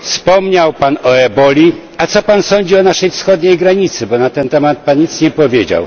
wspomniał Pan o eboli, a co Pan sądzi o naszej wschodniej granicy, bo na ten temat nic Pan nie powiedział?